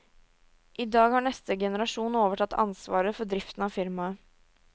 I dag har neste generasjon overtatt ansvaret for driften av firmaet.